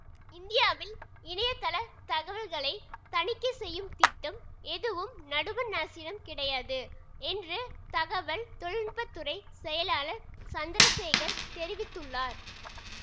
இந்தியாவில் இணையதளத் தகவல்களை தணிக்கை செய்யும் திட்டம் எதுவும் நடுவண் அரசிடம் கிடையாது என்று தகவல் தொழில்நுட்பத்துறைச் செயலாளர் சந்திரசேகர் தெரிவித்துள்ளார்